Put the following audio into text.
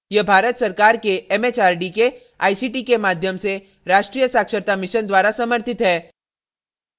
यह भारत सरकार के एमएचआरडी के आईसीटी के माध्यम से राष्ट्रीय साक्षरता mission द्वारा समर्थित है